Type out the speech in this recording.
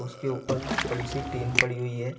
उसके ऊपर बड़ी सी टीन पड़ी हुई है।